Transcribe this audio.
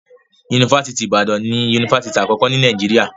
Yunifásítì Ìbàdàn ni yunifásítì àkọ́kọ́ ní Nàìjíríà.